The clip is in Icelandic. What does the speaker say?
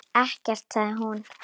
Ekkert, sagði hún.